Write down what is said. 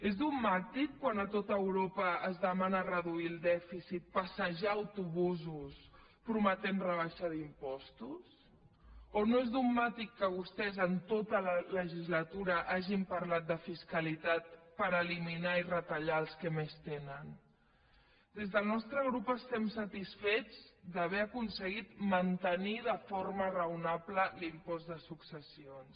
és dogmàtic quan a tot europa es demana reduir el dèficit passejar autobusos prometent rebaixa d’impostos o no és dogmàtic que vostès en tota la legislatura hagin parlat de fiscalitat per eliminar ne i retallar ne als que més tenen des del nostre grup estem satisfets d’haver aconseguit mantenir de forma raonable l’impost de successions